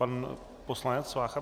Pan poslanec Vácha.